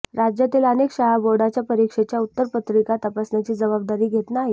राज्यातील अनेक शाळा बोर्डाच्या परीक्षेच्या उत्तरपत्रिका तपासण्याची जबाबदारी घेत नाहीत